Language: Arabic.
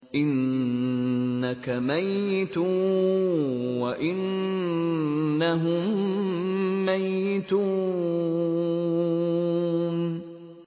إِنَّكَ مَيِّتٌ وَإِنَّهُم مَّيِّتُونَ